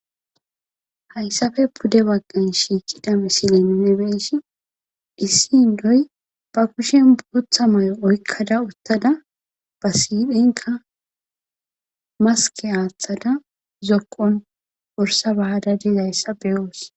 hayssafe pude waggan shiikida misilennebeessi issi indoy ba kushen buutha may7on oykkada uttada ba siiphenka maske aaththada zokqon worsa bahadadiz hayssa beyoos